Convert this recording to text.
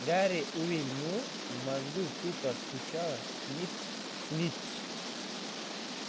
гарри увильнул в мозгу тупо стучало снитч снитч